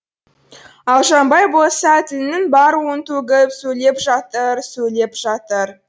ал жанбай болса тілінің бар уын төгіп сөйлеп жатыр сөйлеп жатыр